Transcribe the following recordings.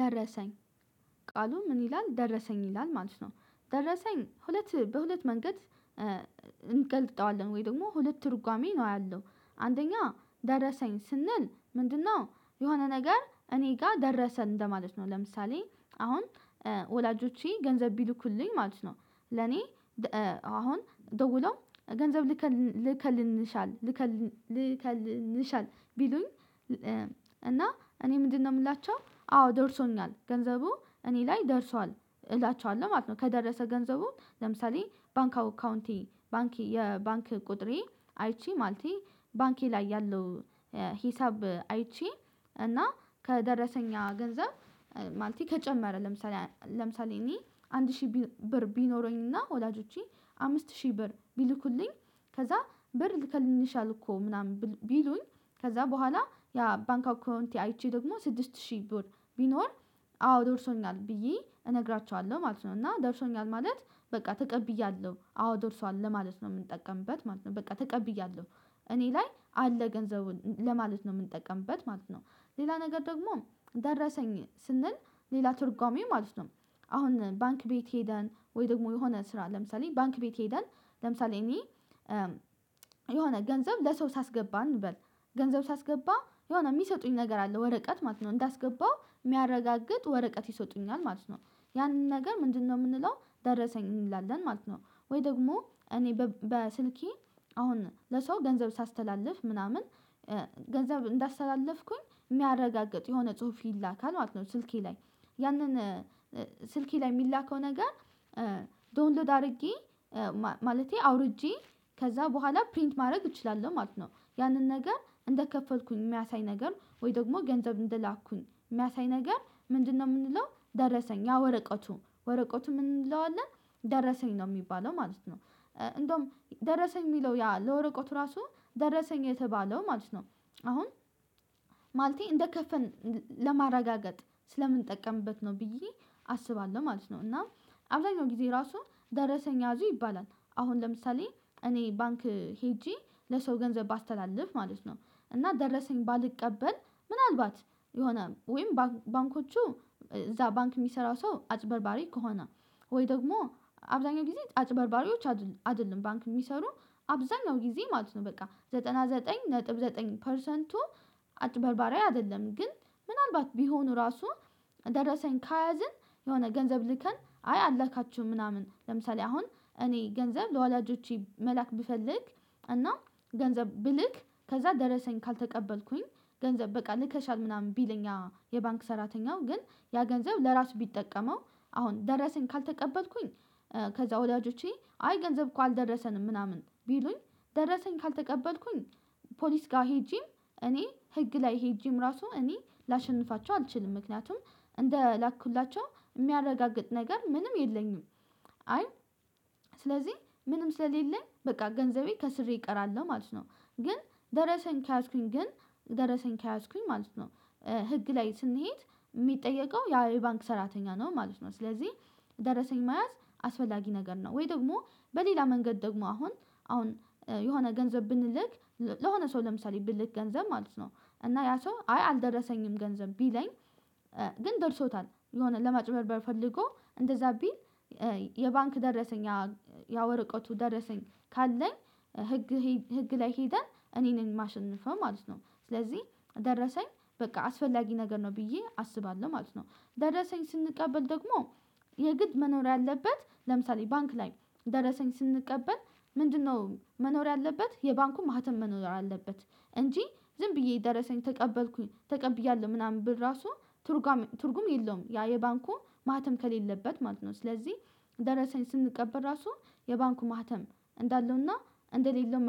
ደረሰኝ ቃሉ ምን ይላል ደረሰኝ ይላል ማለት ነው። ደረሰኝ ሁለት በሁለት መንገድ እንገልጠዋለን ወይ ደግሞ ሁለት ትርጓሜ ነው ያለው። አንደኛ ደረሰኝ ስንል ምንድነው? የሆነ ነገር እኔ ጋር ደረሰኝ እንደማለት ነው። ለምሳሌ አሁን ወላጆቼ ገንዘብ ቢልኩልኝ ማለት ነው። ለኔ አሁን ደውለው ገንዘብ ልከልንሻል። ቢሉኝ። እና እኔ ምንድነው የምላቸው አዎ ደርሶኛል ገንዘቡ እኔ ላይ ደርሷል እላቸዋለሁ ማለት ነው። ከደረሰ ገንዘቡ ለምሳሌ ባንክ አካውንቴ ባንክ የባንክ ቁጥሬ አይቼ ማለቴ ባንኬ ላይ ያለው። ሂሳብ አይቼ እና ከደረሰኛ ያ ገንዘብ ማለቴ ከጨመረ ለምሳሌ ለምሳሌ እኔ አንድ ሺህ ብር ቢኖረኝና ወላጆቼ አምስት ሺህ ብር ቢልኩልኝ። ከዛ ብር ልከልኝሻል እኮ ምናምን ቢሉኝ ከዛ በኋላ ያ ባንክ አውካንቴ አይቼ ደግሞ ስድስት ሺህ ብር ቢኖር አዎ ደርሶኛል ብዬ እነግራችኋለሁ ማለት ነው። እና ደርሶኛል ማለት በቃ ተቀብያለሁ አዎ ደርሷል ለማለት ነው የምንጠቀምበት ማለት ነው በቃ ተቀብያለሁ እኔ ላይ አለ ገንዘቡን ለማለት ነው የምንጠቀምበት ማለት ነው። ሌላ ነገር ደግሞ ደረሰኝ ስንል ሌላ ትርጓሜ ማለት ነው። አሁን ባንክ ቤት ሄደን ወይ ደግሞ የሆነ ስራ ለምሳሌ ባንክ ቤት ሄደን ለምሳሌ እኔ የሆነ ገንዘብ ለሰው ሳስገባ እንበል ገንዘብ ሳስገባ የሆነ የሚሰጡኝ ነገር አለ ወረቀት ማለት ነው እንዳስገባው የሚያረጋግጥ ወረቀት ይሰጡኛል ማለት ነው። ያንን ነገር ምንድነው የምንለው ደረሰኝ እንላለን ማለት ነው። ወይ ደግሞ እኔ በስልኬ አሁን ለሰው ገንዘብ ሳስተላልፍ ምናምን ገንዘብ እንዳስተላለፍኩኝ የሚያረጋግጥ የሆነ ጽሁፍ ይላካል ማለት ነው። ስልኬ ላይ ያንን ስልኬ ላይ የሚላከው ነገር ዶንሎድ አድርጌ ማለቴ አውርጄ ከዛ በኋላ ፕሪንት ማድረግ እችላለሁ ማለት ነው። ያንን ነገር እንደከፈልኩኝ የሚያሳይ ነገር ወይ ደግሞ ገንዘብ እንደላኩኝ የሚያሳይ ነገር ምንድነው? የምንለው ደረሰኝ ያ ወረቀቱ ወረቀቱ ምን እንለዋለን? ደረሰኝ ነው የሚባለው ማለት ነው። እንደውም ደረሰኝ የሚለው ያ ለወረቀቱ ራሱ ደረሰኝ የተባለው ማለት ነው። አሁን ማለቴ እንደከፈን ለማረጋገጥ ስለምንጠቀምበት ነው ብዬ አስባለሁ ማለት ነው። እና አብዛኛው ጊዜ ራሱ ደረሰኝ ያዙ ይባላል። አሁን ለምሳሌ እኔ ባንክ ሄጄ ለሰው ገንዘብ ባስተላልፍ ማለት ነው። እና ደረሰኝ ባልቀበል ምናልባት የሆነ ወይም ባንኮቹ እዛ ባንክ የሚሰራው ሰው አጭበርባሪ ከሆነ ወይ ደግሞ አብዛኛው ጊዜ አጭበርባሪዎች አይደለም ባንክ የሚሰሩ አብዛኛው ጊዜ ማለት ነው። በቃ ዘጠና ዘጠኝ ነጥብ ዘጠኝ ፐርሰንቱ። አጭበርባሪያ አይደለም ግን ምናልባት ቢሆኑ ራሱ ደረሰኝ ከያዝን የሆነ ገንዘብ ልከን አይ አላካችሁም ምናምን ለምሳሌ አሁን እኔ ገንዘብ ለወላጆቼ መላክ ብፈልግ። እና ገንዘብ ብልክ ከዛ ደረሰኝ ካልተቀበልኩኝ ገንዘብ በቃ ልከሻል ምናምን ቢል እኛ የባንክ ሰራተኛው ግን ያ ገንዘብ ለራሱ ቢጠቀመው አሁን ደረሰኝ ካልተቀበልኩኝ። ከዛ ወላጆቼ አይ ገንዘብ እኮ አልደረሰንም ምናምን ቢሉኝ ደረሰኝ ካልተቀበልኩኝ ፖሊስ ጋር ሄጄም እኔ ህግ ላይ ሄጄም ራሱ እኔ ላሸንፋቸው አልችልም ምክንያቱም እንደላኩላቸው ሚያረጋግጥ ነገር ምንም የለኝም። አይ ስለዚህ ምንም ስለሌለኝ በቃ ገንዘቤ ከስሬ እቀራለሁ ማለት ነው። ግን ደረሰኝ ከያዝኩኝ ግን ደረሰኝ ከያዝኩኝ ማለት ነው። ህግ ላይ ስንሄድ የሚጠየቀው ያ የባንክ ሰራተኛ ነው ማለት ነው። ስለዚህ ደረሰኝ መያዝ አስፈላጊ ነገር ነው። ወይ ደግሞ በሌላ መንገድ ደግሞ አሁን አሁን የሆነ ገንዘብ ብንልክ ለሆነ ሰው ለምሳሌ ብልክ ገንዘብ ማለት ነው እና ያ ሰው አይ አልደረሰኝም ገንዘብ ቢለኝ። ግን ደርሶታል የሆነ ለማጭበርበር ፈልጎ እንደዛ ቢል። የባንክ ደረሰኝ ያ ወረቀቱ ደረሰኝ ካለኝ ህግ ህግ ላይ ሄደን እኔን የማሸንፈው ማለት ነው። ስለዚህ ደረሰኝ በቃ አስፈላጊ ነገር ነው ብዬ አስባለሁ ማለት ነው። ደረሰኝ ስንቀበል ደግሞ የግድ መኖር ያለበት ለምሳሌ ባንክ ላይ ደረሰኝ ስንቀበል ምንድነው መኖር ያለበት የባንኩ ማህተም መኖር አለበት። እንጂ ዝም ብዬ ደረሰኝ ተቀበልኩኝ ተቀብያለሁ ምናምን ብር ራሱ ትርጓሜ ትርጉም የለውም ያ የባንኩ ማህተም ከሌለበት ማለት ነው። ስለዚህ ደረሰኝ ስንቀበል ራሱ የባንኩ ማህተም እንዳለውና እንደሌለው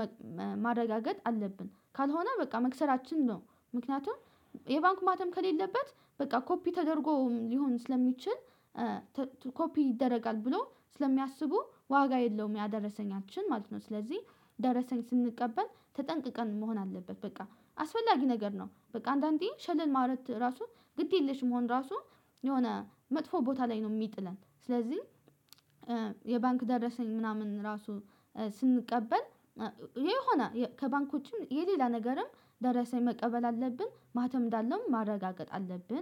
ማረጋገጥ አለብን ካልሆነ በቃ መክሰራችን ነው። ምክንያቱም የባንኩ ማተም ከሌለበት በቃ ኮፒ ተደርጎ ሊሆን ስለሚችል ኮፒ ይደረጋል ብሎ ስለሚያስቡ ዋጋ የለውም ያ ደረሰኛችን ማለት ነው። ስለዚህ ደረሰኝ ስንቀበል ተጠንቅቀን መሆን አለበት። በቃ አስፈላጊ ነገር ነው። በቃ አንዳንዴ ሸለል ማውረድ ራሱ ግድ የለሽም መሆን ራሱ የሆነ መጥፎ ቦታ ላይ ነው። የሚጥለን ስለዚህ የባንክ ደረሰኝ ምናምን ራሱ ስንቀበል የሆነ ከባንክ ውጭም የሌላ ነገርም ደረሰ መቀበል አለብን ማህተብ እንዳለው ማረጋገጥ አለብን